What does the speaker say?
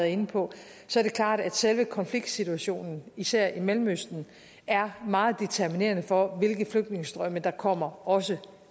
inde på så er det klart at selve konfliktsituationen især i mellemøsten er meget determinerende for hvilke flygtningestrømme der kommer også